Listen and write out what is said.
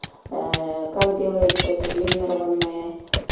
как делается сублимированные